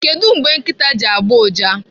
Kedụ mgbe nkịta ji agbụ ụja?